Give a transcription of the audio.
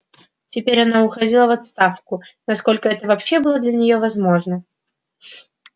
теперь она уходила в отставку насколько эго вообще было для неё возможно